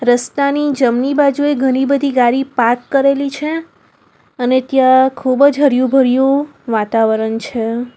રસ્તાની જમણી બાજુએ ઘણી બધી ગાડી પાર્ક કરેલી છે અને ત્યાં ખૂબ જ હર્યું ભર્યું વાતાવરણ છે.